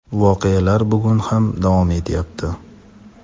voqealar bugun ham davom etyapti.